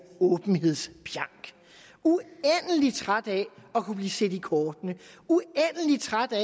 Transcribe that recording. åbenhedspjank uendelig træt af at kunne blive set i kortene uendelig træt af